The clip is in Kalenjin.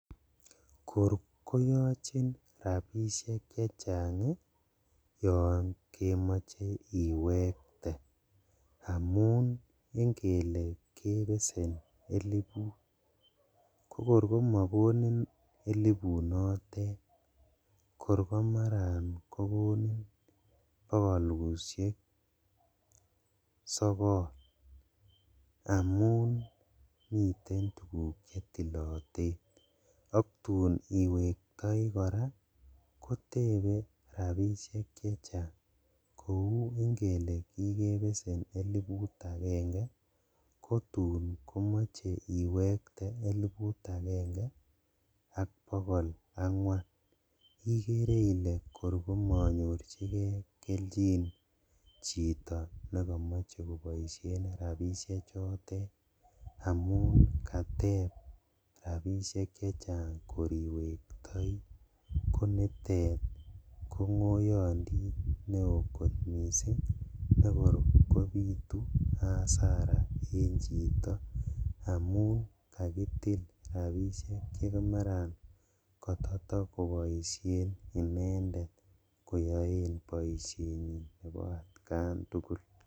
Kor koyochin rabishek chechang yon kemoche iwekte amun ingele kebesen eliput kokor komokomin elipunotet kor komaran kogonin bogolushek sogol amun miten tuguk chetiloten, ak tun iwektoi koraa kotebe rabishek chechang kou ingele kikebesen eliput agenge kotum komoche iwekte eliput agenge ak bogol angwan ikere ile kor komonyorjigee keljin chito nekomoche koboishen rabishechotet amun kateb rabishek chechang lor iwektoi konitet kongoyondit newo kot missing' nekilo kobitu hasara en chito amu kakitil rabishdk chemaran kototo koboishen inendet koyoen boishenyin nebo atkan tugul.